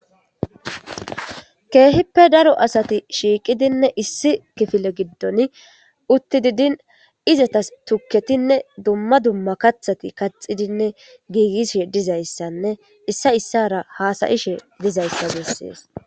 Keehippe daro asati shiiqidinne issi kifile giddon utti didin izatas tukketinne dumma dumma kathati kaxidinne giigisshe dizayssanne issa issara haasayishe dizayssa bessees